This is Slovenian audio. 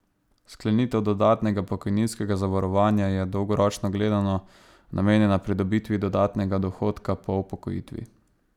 Sklenitev dodatnega pokojninskega zavarovanja je, dolgoročno gledano, namenjena pridobitvi dodatnega dohodka po upokojitvi.